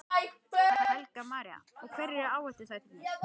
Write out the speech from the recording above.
Helga María: Og hverjir eru áhættuþættirnir?